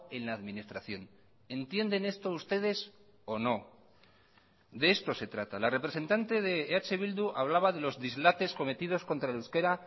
en la administración entienden esto ustedes o no de esto se trata la representante de eh bildu hablaba de los dislates cometidos contra el euskera